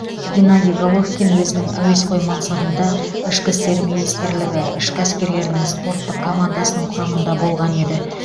геннадий головкин өзінің әуесқой мансабында ішкі істер министрлігі ішкі әскерлерінің спорттық командасының құрамында болған еді